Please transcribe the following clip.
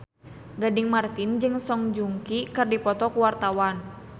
Gading Marten jeung Song Joong Ki keur dipoto ku wartawan